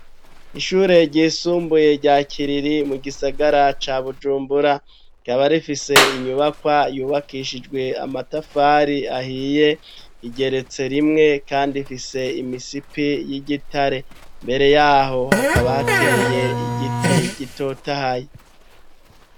Ishure ryisumbuye ryakiriri mu gisagara ca Bujumbura rikaba rifise inyubakwa yubakishijwe amatafari ahiye igeretse rimwe kandi ifise imisipi y'igitare mbere yaho hakaba hateye igiti gitotahaye